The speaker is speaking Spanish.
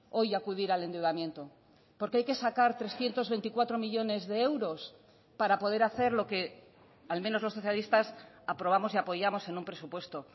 hoy acudir al endeudamiento porque hay que sacar trescientos veinticuatro millónes de euros para poder hacer lo que al menos los socialistas aprobamos y apoyamos en un presupuesto